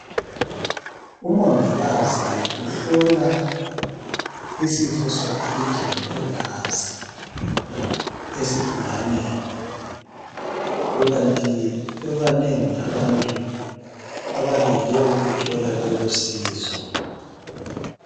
Umongikazi uhlola isifo sokugijima kwegazi esigulaneni kukanti bebanengi abantu abalinde ukuthola lolosizo